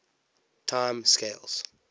time scales